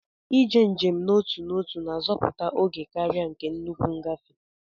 Iji njem n'otu ọtu na-azoputa ógè karia nke nnukwu ngafe.